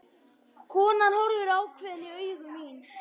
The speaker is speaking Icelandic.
Konan horfir ákveðin í augu mín.